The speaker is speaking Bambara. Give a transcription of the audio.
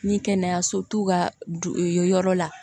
Ni kɛnɛyaso t'u ka yɔrɔ la